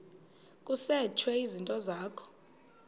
kusetshwe izinto zakho